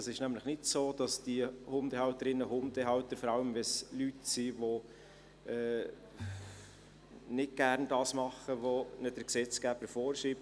Es ist nämlich nicht so, dass diese Hundehalterinnen und Hundehalter dann einfach so in einen Kurs gehen, vor allem wenn es Leute sind, die nicht gerne das tun, was ihnen der Gesetzgeber vorschreibt.